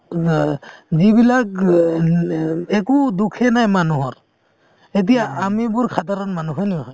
যিবিলাক গ অ একো দোষে নাই মানুহৰ এতিয়া আমিবোৰ সাধাৰণ মানুহ হয় নে নহয়